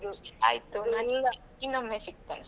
ಆಯಿತು ನಾ ನಿಂಗೆ ಇನ್ನೊಮ್ಮೆ ಸಿಗ್ತೇನೆ.